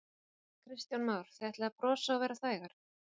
Kristján Már: Þið ætlið að brosa og vera þægar?